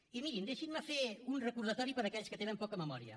i mirin deixin me fer un recordatori per a aquells que tenen poca memòria